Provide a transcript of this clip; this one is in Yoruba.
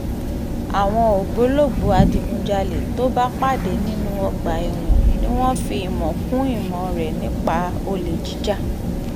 àwọn ògbólógbòó adigunjalè tó bá pàdé nínú ọgbà ẹ̀wọ̀n ni wọ́n fi ìmọ̀ kún ìmọ̀ rẹ̀ nípa olè jíjà